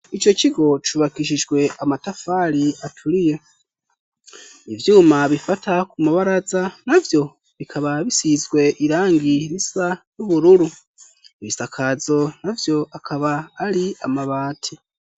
Ico kigo cubakishijwe amatafari aturiye ivyuma bifata ku mabaraza navyo bikaba bisizwe irangi risa n' ubururu, ibisakazo navyo akaba ari amabati.